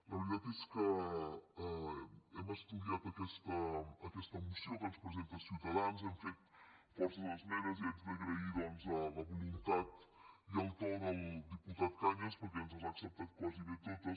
la veritat és que hem estudiat aquesta moció que ens presenta ciutadans hem fet força esmenes i haig d’agrair doncs la voluntat i el to del diputat cañas perquè ens les ha acceptades gairebé totes